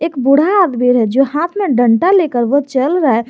बुढ़ा आदमी है जो हाथ में डंडा लेकर वो चल रहा है।